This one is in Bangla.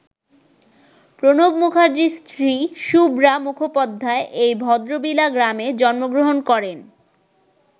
প্রণব মুখার্জির স্ত্রী শুভ্রা মুখোপাধ্যায় এই ভদ্রবিলা গ্রামে জন্মগ্রহণ করেন।